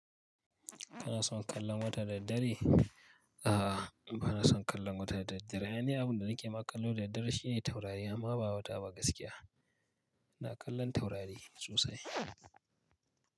Kana son kallon wata da dare? A'a, ni ba na son kallon wata da daddare. Aini abunda nake ma kallo da daddare shine taurari amma ba wata ba gaskiya. Ina kallon taurari sosai.